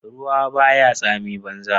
Ruwa ba ya tsamin banza.